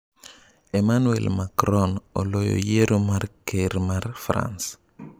Emmanuel Macron oloyo yiero mar ker mar France